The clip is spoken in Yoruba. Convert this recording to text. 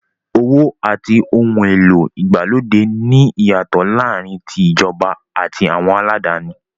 Owó àti ohun èlò ìgbàlódé ní ìyàtọ̀ láàárín tí ìjọba àti àwọn aládáni.